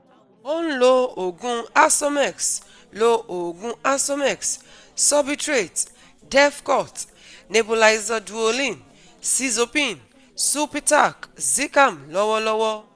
Ó ń lo oogun Asomex, lo oogun Asomex, Sorbitrate, Defcort, Nebulizer Duolin, Sizopin, sulpitac, zicam lọ́wọ́lọ́wọ́